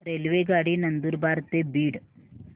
रेल्वेगाडी नंदुरबार ते बीड